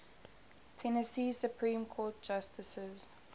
tennessee supreme court justices